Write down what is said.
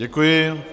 Děkuji.